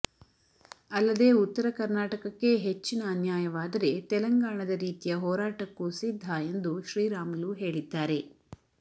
ಅಲ್ಲದೇ ಉತ್ತರ ಕರ್ನಾಟಕಕ್ಕೆ ಹೆಚ್ಚಿನ ಅನ್ಯಾಯವಾದರೆ ತೆಲಂಗಾಣದ ರೀತಿಯ ಹೋರಾಟಕ್ಕೂ ಸಿದ್ಧ ಎಂದು ಶ್ರೀ ರಾಮುಲು ಹೇಳಿದ್ದಾರೆ